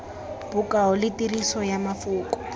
bokao le tiriso ya mafoko